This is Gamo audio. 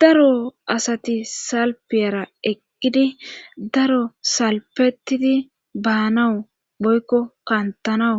daro asati salpiyara eqqidi daro salpetidi baanawu boykko kantanawu